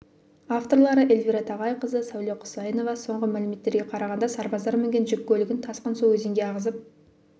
авторлары эльвира тағайқызы сәуле құсайынова соңғы мәліметтерге қарағанда сарбаздар мінген жүк көлігін тасқын су өзенге ағызып